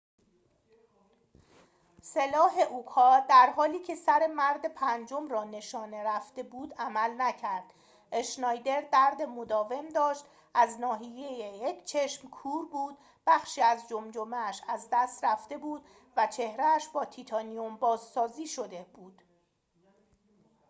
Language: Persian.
سلاح اوکا در حالی که سر مرد پنجم را نشانه رفته بود عمل نکرد اشنایدر درد مداوم داشت از ناحیه یک چشم کور بود بخشی از جمجمه اش از دست رفته بود و چهره اش با تیتانیوم بازسازی شده بود